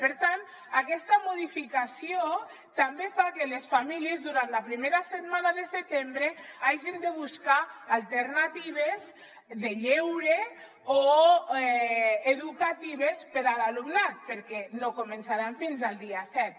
per tant aquesta modificació també fa que les famílies durant la primera setmana de setembre hagin de buscar alternatives de lleure o educatives per a l’alumnat perquè no començaran fins al dia set